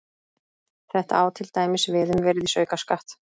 Þetta á til dæmis við um virðisaukaskatt.